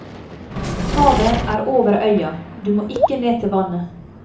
Havet er over øya, du må ikke ned til vannet.